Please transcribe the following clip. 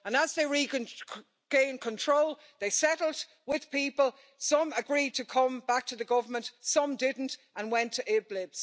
And as they regained control they settled with people some agreed to come back to the Government, some didn't and went to Idlib.